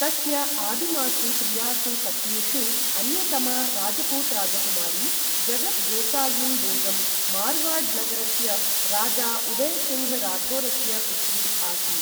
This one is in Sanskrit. तस्य आदिमासु प्रियासु पत्नीषु अन्यतमा राजपूत राजकुमारी, जगत् गोसाइन् बेगम्, मारवाड् नगरस्य राजा उदय सिङ्घ् राठोरस्य पुत्री आसीत्।